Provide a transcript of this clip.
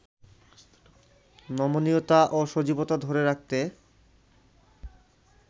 নমনীয়তা ও সজীবতা ধরে রাখতে